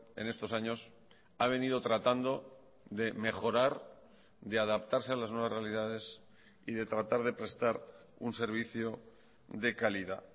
en estos años ha venido tratando de mejorar de adaptarse a las nuevas realidades y de tratar de prestar un servicio de calidad